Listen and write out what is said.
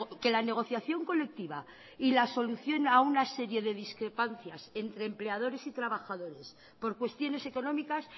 que la negociación colectiva y la solución a una serie de discrepancias entre empleadores y trabajadores por cuestiones económicas